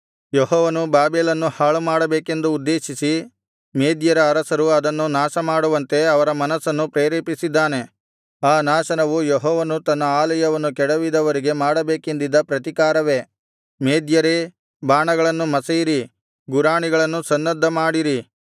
ಯೆಹೋವನು ಬಾಬೆಲನ್ನು ಹಾಳುಮಾಡಬೇಕೆಂದು ಉದ್ದೇಶಿಸಿ ಮೇದ್ಯರ ಅರಸರು ಅದನ್ನು ನಾಶಮಾಡುವಂತೆ ಅವರ ಮನಸ್ಸನ್ನು ಪ್ರೇರೇಪಿಸಿದ್ದಾನೆ ಆ ನಾಶನವು ಯೆಹೋವನು ತನ್ನ ಆಲಯವನ್ನು ಕೆಡವಿದವರಿಗೆ ಮಾಡಬೇಕೆಂದಿದ್ದ ಪ್ರತಿಕಾರವೇ ಮೇದ್ಯರೇ ಬಾಣಗಳನ್ನು ಮಸೆಯಿರಿ ಗುರಾಣಿಗಳನ್ನು ಸನ್ನದ್ಧ ಮಾಡಿರಿ